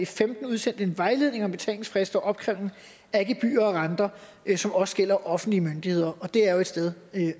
femten udsendte en vejledning om betalingsfrister og opkrævning af gebyrer og renter som også gælder for offentlige myndigheder og det er jo et sted